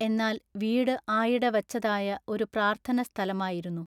എന്നാൽ വീട് ആയിട വച്ചതായ ഒരു പ്രാർത്ഥനസ്ഥലമായിരുന്നു.